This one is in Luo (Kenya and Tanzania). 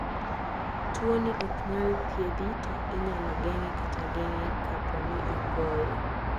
Tuwoni ok nyal thiedhi to inyalo geng'e kata geng'e kapo ni ogoye.